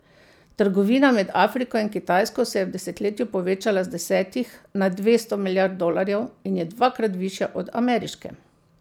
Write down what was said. Trgovina med Afriko in Kitajsko se je v desetletju povečala z desetih na dvesto milijard dolarjev in je dvakrat višja od ameriške.